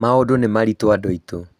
maũndũ nĩ maritũ andũ aitũ